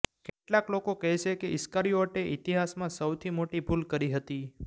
કેટલાંક લોકો કહેશે કે ઈસકારિઓટે ઈતિહાસમાં સૌથી મોટી ભૂલ કરી હતી